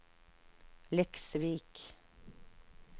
Leksvik